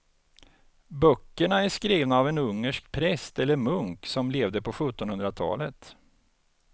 Böckerna är skrivna av en ungersk präst eller munk som levde på sjuttonhundratalet.